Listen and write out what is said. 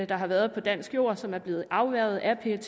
der har været på dansk jord og som er blevet afværget af pet